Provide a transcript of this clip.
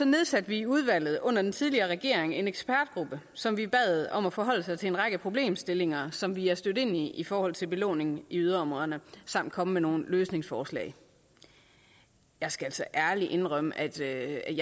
nedsatte vi i udvalget under den tidligere regering en ekspertgruppe som vi bad om at forholde sig til en række problemstillinger som vi er stødt ind i i forhold til belåningen i yderområderne samt komme med nogle løsningsforslag jeg skal altså ærligt indrømme at jeg